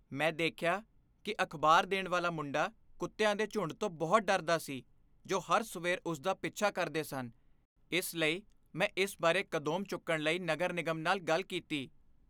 ਮੈਂ ਦੇਖਿਆ ਕੀ ਅਖ਼ਬਾਰ ਦੇਣ ਵਾਲਾ ਮੁੰਡਾ ਕੁੱਤਿਆਂ ਦੇ ਝੁੰਡ ਤੋਂ ਬਹੁਤ ਡਰਦਾ ਸੀ ਜੋ ਹਰ ਸਵੇਰ ਉਸ ਦਾ ਪਿੱਛਾ ਕਰਦੇ ਸਨ ਇਸ ਲਈ, ਮੈਂ ਇਸ ਬਾਰੇ ਕਦਮ ਚੁੱਕਣ ਲਈ ਨਗਰ ਨਿਗਮ ਨਾਲ ਗੱਲ ਕੀਤੀ